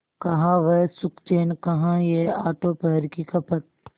कहाँ वह सुखचैन कहाँ यह आठों पहर की खपत